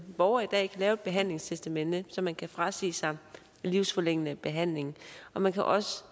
borger i dag kan lave et behandlingstestamente så man kan frasige sig livsforlængende behandling og man kan også